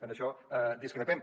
en això discrepem